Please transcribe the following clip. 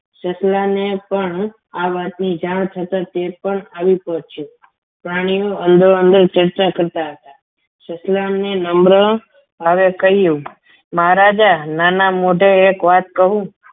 સસલાને પણ આ વાતની જાણ થતા તે પણ આવી પહોંચ્યું, પ્રાણીઓ અંદર અંદર ચર્ચા કરતા હતા સસલાને નમ્ર આવી કહ્યું મહારાજા નાના મોઢે એક વાત કહું.